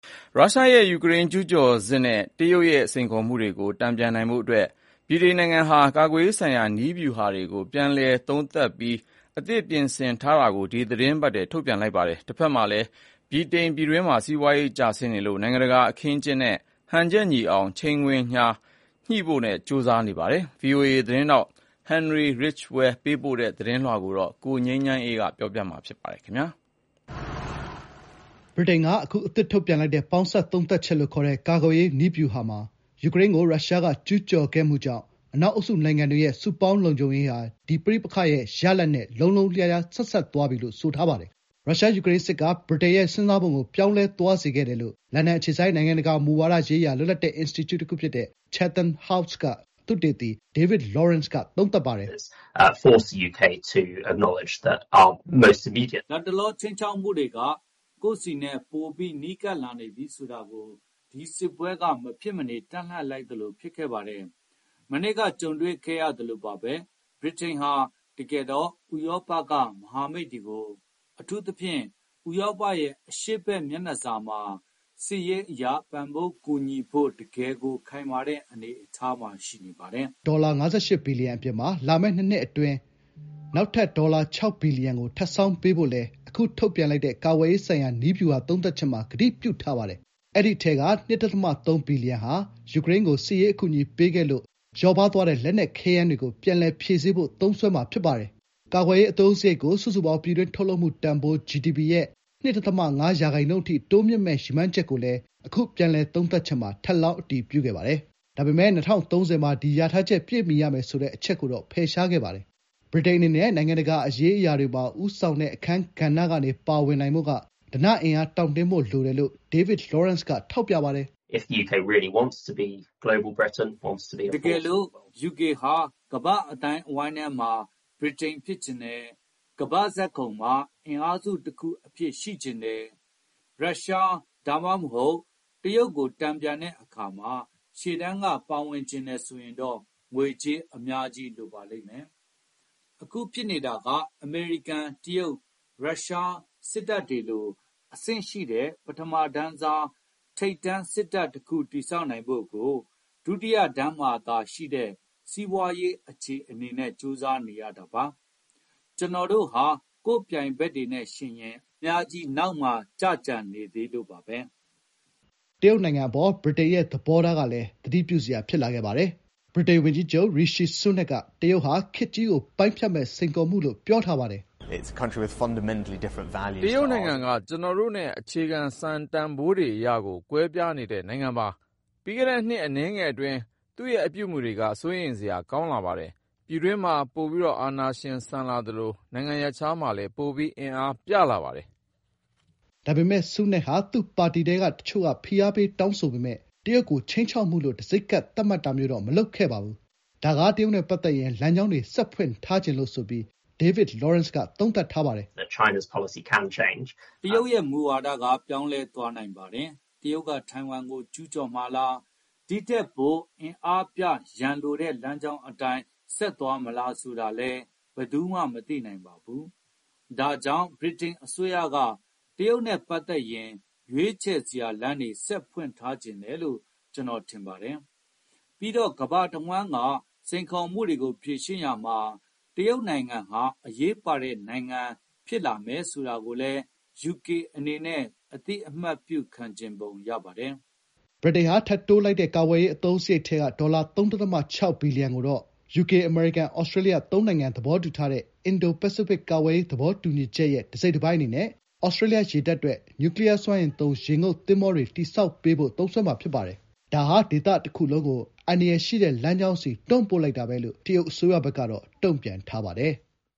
ရုရှားရဲ့ ယူကရိန်းကျူးကျော်စစ်နဲ့ တရုတ်ရဲ့စိန်ခေါ်မှုတွေကို တန်ပြန်နိုင်ဖို့ ဗြိတိန်ဟာ ကာကွယ်ရေးဆိုင်ရာ နည်းဗျူဟာတွေကို ပြည်လည်သုံးသပ်ပြီး အသစ်ပြင်ဆင်ကာ ဒီသီတင်းပတ်ထဲမှာပဲ ထုတ်ပြန်လိုက်ပါတယ်။ တဘက်မှာလည်း ပြည်တွင်းမှာ စီးပွားရေးကျဆင်းနေလို့ နိုင်ငံတကာအခင်းအကျင်းက မဟာဗျူဟာမြောက် ခြိမ်းခြောက်မှုတွေနဲ့ ဟန်ချက်ညီအောင် ချိန်ခွင်လျှာညှိဖို့ ကြိုးစားနေရပါတယ်။ ဗွီအိုအေသတင်းထောက် ဟင်နရီရစ်ချ်ဝဲလ် လန်ဒန်ကနေ ပေးပို့ထားတဲ့သတင်းလွှာကို ကိုငြိမ်းချမ်းအေးက တင်ပြပေးထားပါတယ်။ ဗြိတိန်က အခုအသစ်ထုတ်ပြန်လိုက်တဲ့ 'ပေါင်းစပ်သုံးသပ်ချက်' လို့ခေါ်တဲ့ ကာကွယ်ရေးနည်းဗျူဟာမှာ ယူကရိန်းကို ရုရှားကကျူးကျော်ခဲ့မှုကြောင့် အနောက်အုပ်စုနိုင်ငံတွေရဲ့ စုပေါင်းလုံခြုံရေးဟာ ဒီ ပဋိပက္ခရဲ့ရလဒ်နဲ့ လုံးလုံးလျားလျား ဆက်စပ်သွားပြီလို့ ဆိုထားပါတယ်။ ရုရှား-ယူကရိန်းစစ်က ဗြိတိန်ရဲ့စဉ်းစားပုံကို ပြောင်းလဲသွားစေခဲ့တယ်လို့ လန်ဒန်အခြေစိုက် နိုင်ငံတကာမူဝါဒရေးရာ လွတ်လပ်တဲ့အင်စတီကျုတခုဖြစ်တဲ့ ချက်သမ်ဟောက်စ် က သုတေသီ ဒေးဗစ်လောရန့်စ် က သုံးသပ်ပါတယ်။ “လတ်တလော ခြိမ်းခြောက်မှုတွေက ကိုယ့်ဆီနဲ့ ပိုနီးကပ်လာနေပြီဆိုတာကို ဒီစစ်ပွဲက မဖြစ်မနေ တပ်လှန့်လိုက်သလိုပါပဲ။ မနှစ်က ကြုံတွေ့ခဲ့ရသလိုပါပဲ။ ဗြိတိန်ဟာ တကယ်တော့ ဥရောပရဲ့ မဟာမိတ်တွေကို အထူးသဖြင့် ဥရောပရဲ့ အရှေ့ဘက်မျက်နှာစာမှာစစ်ရေးအရ ပံ့ပိုးကူညီဖို့ တကယ့်ကို ခိုင်မာတဲ့ အနေအထားမှာ ရှိနေပါတယ်။” ဗြိတိန်ဟာ နှစ်ပတ်လည်ကာကွယ်ရေးအသုံးစရိတ် ဒေါ်လာ ၅၈ ဘီလီယံအပြင် လာမယ့် နှစ်နှစ်အတွင်းမှာ နောက်ထပ် ဒေါ်လာ ၆ ဘီလီယံကို ထပ်ဆောင်းပေးဖို့လည်း အခု ထုတ်ပြန်လိုက်တဲ့ ကာကွယ်ရေးဆိုင်ရာ နည်းဗျူဟာသုံးသပ်ချက်မှာ ကတိပြုထားပါတယ်။ အဲဒီအထဲက ၂.၃ ဘီလီယံဟာ ယူကရိန်းကို စစ်ရေးအကူအညီပေးခဲ့လို့ လစ်ဟာသွားတဲ့ လက်နက်ခဲယမ်းတွေကို ပြန်လည် ဖြည့်ဆည်းဖို့ သုံးစွဲမှာဖြစ်ပါတယ်။ ကာကွယ်ရေးအသုံးစရိတ်ကို စုစုပေါင်း ပြည်တွင်းထုတ်လုပ်မှုတန်ဖိုး ဂျီဒီပီ ရဲ့ ၂.၅ ရာခိုင်နှုန်းအထိ တိုးမြှင့်မယ့် ရည်မှန်းချက်ကိုလည်း အခု ပြန်လည်သုံးသပ်ချက်မှာ ထပ်လောင်း အတည်ပြုခဲ့ပါတယ်။ ဒါပေမယ့် ၂၀၃၀ မှာ ဒီ လျာထားချက် ပြည့်မီရမယ်ဆိုတဲ့အချက်ကိုတော့ ဖယ်ရှားခဲ့ပါတယ်။ ဗြိတိန်အနေနဲ့ နိုင်ငံတကာ အရေးအရာတွေမှာ ဦးဆောင်တဲ့အခန်းကဏ္ဍကနေ တုံ့ပြန်နိုင်ဖို့က ဓနအင်အားတောင့်တင်းဖို့လိုတယ်လို့ ဒေးဗစ်လောရန့်စ်က ထောက်ပြပါတယ်။ “တကယ်လို့ ယူကေဟာ ကမ္ဘာ့အသိုင်းအဝန်းထဲက ဗြိတိန်ဖြစ်ချင်တယ်၊ ကမ္ဘာ့ဇာတ်ခုံမှာ အင်အားစုတခုအဖြစ် ရှိချင်တယ်။ ရုရှား ဒါမှမဟုတ် တရုတ်ကို တန်ပြန်တဲ့အခါမှာ ရှေ့တန်းက ပါချင်တယ်ဆိုရင်တော့ ငွေအများကြီးလိုပါလိမ့်မယ်။ အခု ဖြစ်နေတာက အမေရိကန်၊ တရုတ်၊ ရုရှား စစ်တပ်တွေလို အဆင့်ရှိတဲ့ “ပထမတန်းစား ထိပ်တန်းစစ်တပ်” တခု တည်ဆောက်နိုင်ဖို့ကို “ဒုတိယတန်းမှာသာရှိနေတဲ့ စီးပွားရေး” အခြေအနေနဲ့ ကြိုးစားနေရပါတယ်။ ကျနော်တို့ဟာ ကိုယ့်ပြိုင်ဘက်တွေနဲ့ယှဉ်ရင် အများကြီးနောက်မှာ နောက်ကျကျန်နေသေးလို့ပါပဲ။” တရုတ်နိုင်ငံအပေါ် ဗြိတိန်ရဲ့သဘောထားကလည်း သတိပြုစရာဖြစ်လာခဲ့ပါတယ်။ ဗြိတိန်ဝန်ကြီးချုပ် ရီရှီ ဆူးနက်ခ် က တရုတ်ဟာ 'ခေတ်ကြီးကို ပိုင်းဖြတ်မယ့် စိန်ခေါ်မှု' လို့ ပြောထားပါတယ်။ “တရုတ်နိုင်ငံက ကျနော်တို့နဲ့ အခြေခံစံတန်ဖိုးတွေအရကို ကွဲပြားနေတဲ့ နိုင်ငံပါ။ ပြီးခဲ့တဲ့ နှစ်အနည်းငယ်အတွင်း သူ့ရဲ့အပြုအမူတွေက စိုးရိမ်စရာ ကောင်းပါတယ်။ ပြည်တွင်းမှာ ပိုအာဏာရှင်ဆန်လာသလို နိုင်ငံရပ်ခြားမှာလည်း ပိုပြီး အင်အားပြလာပါတယ်။” ဒါပေမယ့် ဆူးနက်ခ် ဟာ သူ့ပါတီထဲက တချို့က ဖိအားပေးတောင်းဆိုပေမယ့် တရုတ်ကို 'ခြိမ်းခြောက်မှု' လို့ တံဆိပ်ကပ် သတ်မှတ်တာမျိုးတော့ မလုပ်ခဲ့ပါဘူး။ ဒါက တရုတ်နဲ့ပတ်သက်ရင် လမ်းကြောင်းတွေ ဆက်ဖွင့်ထားချင်လို့.. ဆိုပြီး ဒေးဗစ်လောရန့်စ်က သုံးသပ်ပါတယ်။ "တရုတ်ရဲ့မူဝါဒက ပြောင်းလဲသွားနိုင်ပါတယ်။ တရုတ်က ထိုင်ဝမ်ကိုကျူးကျော်မှာလား၊ ဒီထက်ပို အင်အားပြရန်လိုတဲ့လမ်းကြောင်းအတိုင်း ဆက်သွားမလားဆိုတာလည်း ဘယ်သူမှမသိနိုင်ပါဘူး။ ဒါကြောင့် ဗြိတိန်အစိုးရက တရုတ်နဲ့ပတ်သက်ရင် ရွေးချယ်စရာလမ်းတွေ ဆက်ဖွင့်ထားချင်တယ်လို့ ကျနော်ထင်ပါတယ်။ ပြီးတော့ ကမ္ဘာတဝန်းကစိန်ခေါ်မှုတွေကို ဖြေရှင်းရာမှာ တရုတ်နိုင်ငံဟာ အရေးပါတဲ့ နိုင်ငံဖြစ်လာမယ်ဆိုတာကိုလည်း ယူကေအနေနဲ့ အသိအမှတ်ပြုချင်ပုံရပါတယ်။” ဗြိတိန်ဟာ ထပ်တိုးလိုက်တဲ့ ကာကွယ်ရေးအသုံးစရိတ်ထဲက ဒေါ်လာ ၃.၆ ဘီလီယံကိုတော့ ဒေါ်လာ ၃.၆ ဘီလီယံကိုတော့ ယူကေ-အမေရိကန်-သြစတြေးလျ သုံးနိုင်ငံသဘောတူထားတဲ့ အင်ဒို-ပစိဖိတ် ကာကွယ်ရေးသဘောတူညီချက်ရဲ့ တစိတ် တပိုင်းအနေနဲ့ သြစတြေးလျရေတပ်အတွက် နျူကလီယားစွမ်းအင်သုံး ရေငုပ်သင်္ဘောတွေတည်ဆောက်ပေးဖို့ သုံးစွဲမှာ ဖြစ်ပါတယ်။ ဒါဟာ ဒေသတခုလုံးကို ‘အန္တရာယ်ရှိတဲ့လမ်းကြောင်း’ကို တွန်းပို့လိုက်တာလို့ တရုတ်အစိုးရဘက်ကတော့ တုံ့ပြန်ထားပါတယ်။